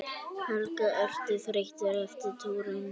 Helga: Ertu þreyttur eftir túrinn?